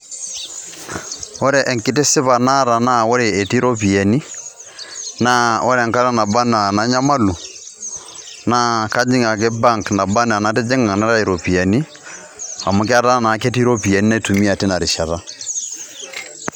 ore enkitisipa naata naa ore etii iropiyiani naa ore enkata naba anaa nanyamalu naa kajing ake bank naba anaa enatijinga naitayu iropiyiani amu ketaa naa ketii iropiyiani naitumia tina rishata.